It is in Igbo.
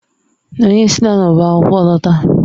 Anyị esila n'ọba akwụkwọ lọta.